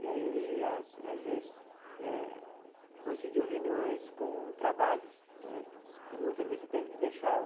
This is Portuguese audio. E aí, as às vezes eh, coincidia reuniões com trabalhos né, e muitas vezes você teve que deixar o.